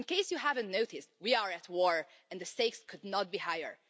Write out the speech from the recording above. In case you haven't noticed, we are at war, and the stakes could not be higher.